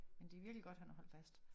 Men det virkelig godt han har holdt fast